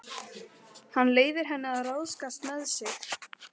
Hann leyfir henni að ráðskast með sig.